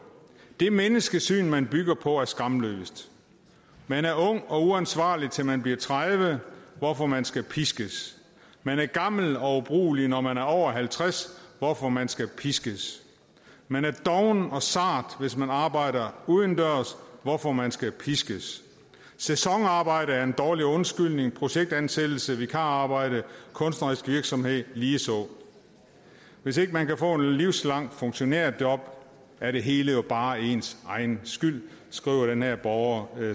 det menneskesyn man bygger på er skamløst man er ung og uansvarlig til man bliver tredive hvorfor man skal piskes man er gammel og ubrugelig når man er over halvtreds hvorfor man skal piskes man er doven og sart hvis man arbejder udendørs hvorfor man skal piskes sæsonarbejde er en dårlig undskyldning projektansættelse vikararbejde kunstnerisk virksomhed ligeså hvis ikke man kan få et livslangt funktionærjob er det hele jo bare ens egen skyld skriver den her borger